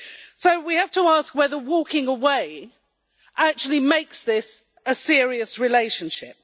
So we have to ask whether walking away actually makes this a serious relationship.